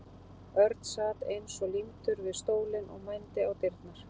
Örn sat eins og límdur við stólinn og mændi á dyrnar.